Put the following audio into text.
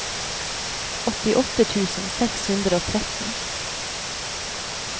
åttiåtte tusen seks hundre og tretten